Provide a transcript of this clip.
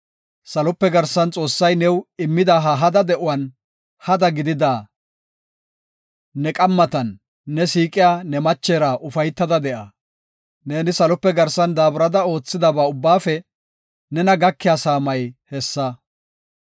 Salope garsan Xoossay new immida ha hada de7uwan, hada gidida ne qammatan ne siiqiya ne machera ufaytada de7a. Neeni salope garsan daaburada oothidaba ubbaafe nena gakiya saamay hessa.